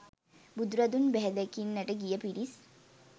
බුදුරදුන් බැහැදකින්නට ගිය පිරිස්